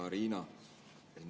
Hea Riina!